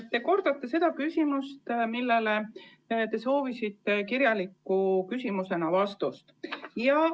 Te kordate sedasama küsimust, mille esitasite ka kirjalikult ja soovisite vastust.